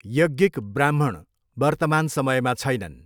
यज्ञिक ब्राह्मण वर्तमान समयमा छैनन्।